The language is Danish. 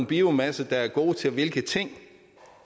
biomasser der er gode til hvilke ting